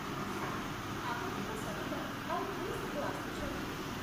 Sir, ଆପଣଙ୍କ ସହିତ ଆଉ କିଏ ସବୁ ଆସୁଛନ୍ତି?